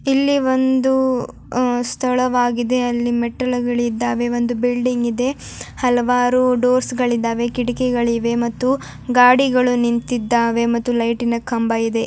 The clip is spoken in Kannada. ಇಲ್ಲಿ ಒಂದು ಹ ಸ್ಥಳವಾಗಿದೆ ಅಲ್ಲಿ ಮೆಟ್ಟಲುಗಳು ಇದಾವೆ ಒಂದು ಬಿಲ್ಡಿಂಗ್ ಇದೆ ಹಲವಾರು ಡೋರ್ಸ್ಗಳು ಇದಾವೆ ಕಿಟಿಕಿಗಳು ಇವೆ ಗಾಡಿಗಳು ನಿಂತಿದಾವೆ ಮತ್ತು ಲೈಟಿನ ಕಂಬವಿದೆ.